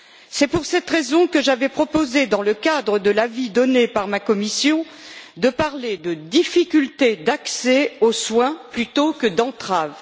C'est pour cette raison que j'avais proposé, dans le cadre de l'avis donné par ma commission, de parler de difficultés d'accès aux soins, plutôt que d'entraves.